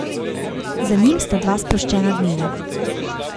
Za njim sta dva sproščena dneva.